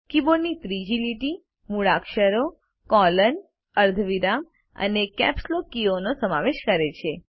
keyboard ની ત્રીજી લીટી મૂળાક્ષરો કોલોન અર્ધવિરામ અને કેપ્સ લોક કીઓનો સમાવેશ કરે છે